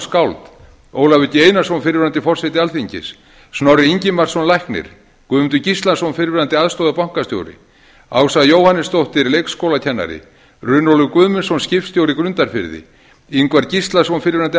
skáld ólafur g einarsson fyrrverandi forseti alþingis snorri ingimarsson læknir guðmundur gíslason fyrrverandi aðstoðarbankastjóri ása jóhannesdóttir leikskólakennari runólfur guðmundsson skipstjóri grundarfirði ingvar gíslason fyrrverandi